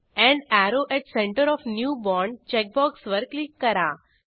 end arrow at centre of new bond check बॉक्सवर click करा